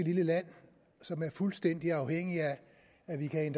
lille land som er fuldstændig afhængigt af at vi kan